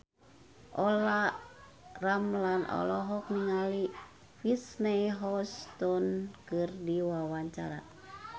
Olla Ramlan olohok ningali Whitney Houston keur diwawancara